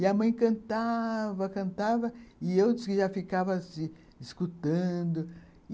E a mãe cantava, cantava, e eu já ficava assim, escutando.